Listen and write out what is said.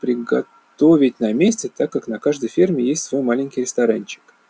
приготовить на месте так как на каждой ферме есть свой маленький ресторанчик